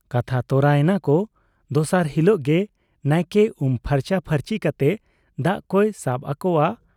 ᱠᱟᱛᱷᱟ ᱛᱚᱨᱟ ᱮᱱᱟ ᱠᱚ ᱫᱚᱥᱟᱨ ᱦᱤᱞᱚᱜ ᱜᱮ ᱱᱟᱭᱠᱮ ᱩᱢ ᱯᱷᱟᱨᱪᱟ ᱯᱷᱟᱨᱪᱤ ᱠᱟᱛᱮ ᱫᱟᱜ ᱠᱚᱭ ᱥᱟᱵ ᱟᱠᱚᱣᱟ ᱾